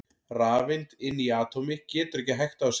Rafeind inni í atómi getur ekki hægt á sér!